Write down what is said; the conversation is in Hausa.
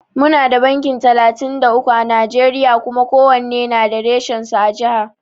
Muna da banki talatin da uku à Najeriya Kuma kowanne da reshen su a jiha.